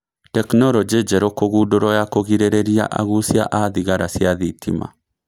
Tekinoronjĩ njerũ kũgũndũrwo ya kũgĩrĩrĩria agũcia a thigara cia thitima